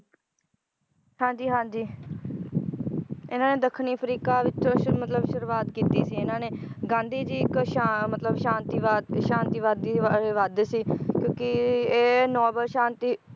ਹਾਂਜੀ ਹਾਂਜੀ ਇਹਨਾਂ ਨੇ ਦੱਖਣੀ ਅਫ਼ਰੀਕਾ ਵਿੱਚੋ ਸ਼ੁਰੂ~ ਮਤਲਬ ਸ਼ੁਰੂਆਤ ਕੀਤੀ ਸੀ ਇਹਨਾਂ ਨੇ ਗਾਂਧੀ ਜੀ ਇਕ ਸ਼ਾ~ ਮਤਲਬ ਸ਼ਾਂਤੀਵਾਦ ਤੇ ਸ਼ਾਂਤੀਵਾਦੀ ਸੀ ਵਾ~ ਵਾਦ ਸੀ ਕਿਉਕਿ ਇਹ noble ਸ਼ਾਂਤੀ